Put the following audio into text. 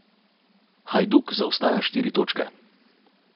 Hajduk zaostaja štiri točke.